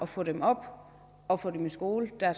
få dem op og få dem i skole det er